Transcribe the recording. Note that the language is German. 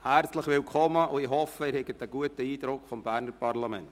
Ich hoffe, Sie haben einen guten Eindruck vom Berner Parlament.